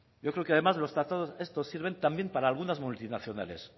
yo creo que además los tratados estos sirven también para algunas multinacionales